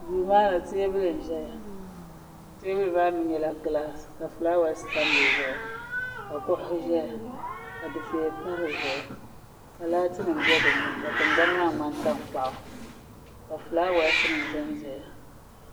Duu maa ni teebuli n ʒɛya teebuli maa mi nyɛla gilaas ka fulaawaas tam di zuɣu ka kuɣuhi zaya ka difeya pa di zuɣu ka laati nim bɛ di ni ka tingbani maa ŋmani tankpaɣu ka fulaawaas ni zan zaya.